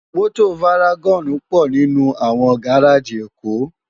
Mòtó várágòn pò ninú áwòn gáráji Ekó